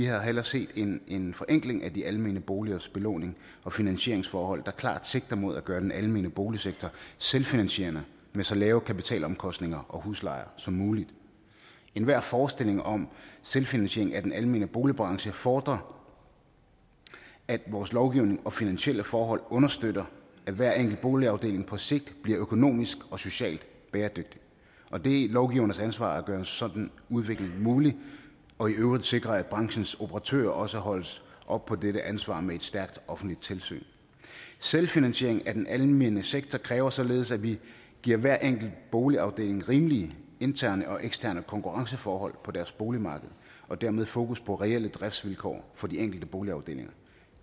havde hellere set en forenkling af de almene boligers belåning og finansieringsforhold der klart sigter mod at gøre den almene boligsektor selvfinansierende med så lave kapitalomkostninger og huslejer som muligt enhver forestilling om selvfinansiering af den almene boligbranche fordrer at vores lovgivning og finansielle forhold understøtter at hver enkelt boligafdeling på sigt bliver økonomisk og socialt bæredygtig og det er lovgivernes ansvar at gøre en sådan udvikling mulig og i øvrigt at sikre at branchens operatører også holdes op på dette ansvar med et stærkt offentligt tilsyn selvfinansiering af den almene sektor kræver således at vi giver hver enkelt boligafdeling rimelige interne og eksterne konkurrenceforhold på deres boligmarked og dermed fokus på reelle driftsvilkår for de enkelte boligafdelinger